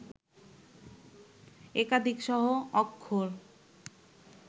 একাধিক সহ-অক্ষর